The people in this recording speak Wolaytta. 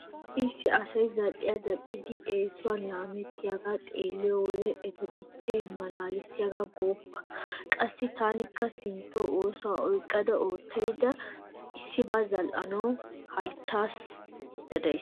Issi issi asay zal"iya zal"idi eesuwan laamettiyagaa xeeliyo wode eta dichchay malaaleesi gooppa. Qassi taanikka sinttawu ooso oyqqada oottaydda issibaa zal"anawu halchchoy dees.